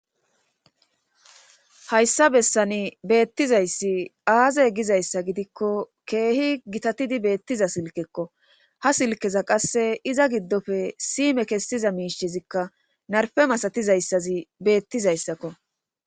Hayssa bessani beettizayssi aazey gizayssa gidikko keehi gitatidi beettiza silkekko ha silkeza qasse iza giddofe sime kessiza miishezikka narfe masatizayssazi beettizayssakko